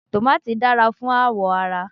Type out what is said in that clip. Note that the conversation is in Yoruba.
Tòmàtì dára fún àwọ̀ ara.